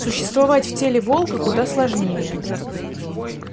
существовать в теле волка куда сложнее